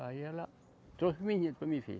Aí ela trouxe o menino para me ver.